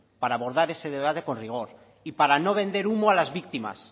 para abordar ese debate con rigor y para no vender humo a las víctimas